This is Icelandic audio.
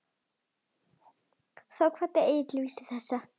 Þá kvað Egill vísu þessa